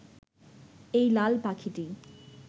এই লাল পাখিটি